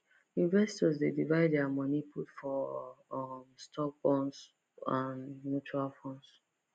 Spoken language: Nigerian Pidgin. investors dey divide their money put for um stocks bonds and mutual funds